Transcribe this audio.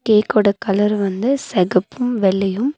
கேக்கோட colour வந்து செகப்பும் வெள்ளயும்.